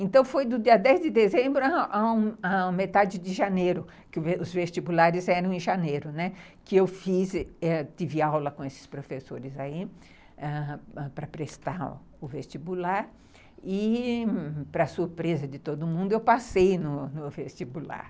Então, foi do dia dez de dezembro à metade de janeiro, que os vestibulares eram em janeiro, né, que eu fiz, tive aula com esses professores aí, ãh, para prestar o vestibular e, para surpresa de todo mundo, eu passei no vestibular.